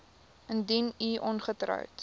indien u ongetroud